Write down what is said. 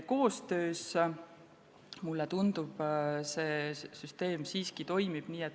Koostöös, mulle tundub, see süsteem siiski toimib.